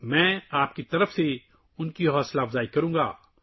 میں آپ کی طرف سے ان کی حوصلہ افزائی کروں گا